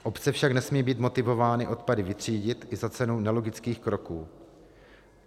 Obce však nesmějí být motivovány odpady vytřídit i za cenu nelogických kroků.